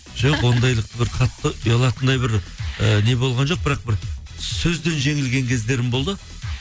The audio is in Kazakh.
жоқ ондайлық бір қатты ұялатындай бір і не болған жоқ бірақ бір сөзден жеңілген кездерім болды